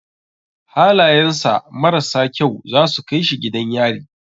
Halayan sa mararsa kyau zasu kai shi gidan yari